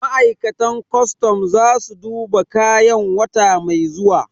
Ma'aikatan kwastam za su duba kayan wata mai zuwa